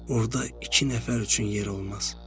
Orda iki nəfər üçün yer olmaz.